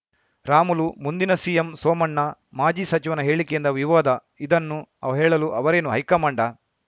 ರಾಮುಲು ಮುಂದಿನ ಸಿಎಂ ಸೋಮಣ್ಣ ಮಾಜಿ ಸಚಿವನ ಹೇಳಿಕೆಯಿಂದ ವಿವಾದ ಇದನ್ನು ಅವ ಹೇಳಲು ಅವರೇನು ಹೈಕಮಾಂಡಾ